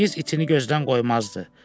Çingiz iti gözdən qoymazdı.